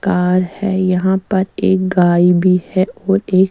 car है यहाँ पर एक गाय भी है और एक--